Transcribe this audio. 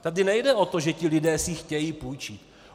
Tady nejde o to, že ti lidé si chtějí půjčit.